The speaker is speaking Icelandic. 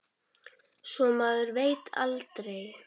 Svo maður veit aldrei.